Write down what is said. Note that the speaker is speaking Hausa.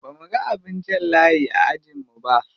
Bamuga abin jan layi a ajin mu ba.